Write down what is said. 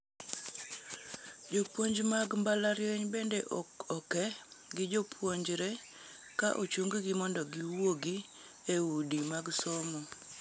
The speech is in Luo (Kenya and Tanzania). Jopuoni mag mbalarianyno bende oke gi jopuonjre ka ochunggi mondo giwuogi e udi mag somo.